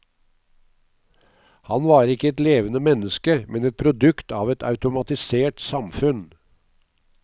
Han var ikke et levende menneske, men et produkt av et automatisert samfunn.